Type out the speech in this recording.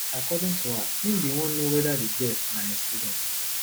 according to her im bin wan know weda di girl na im student